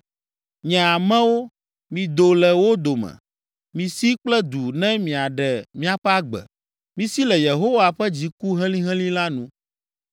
“Nye amewo, mido le wo dome! Misi kple du ne miaɖe miaƒe agbe! Misi le Yehowa ƒe dziku helĩhelĩ la nu.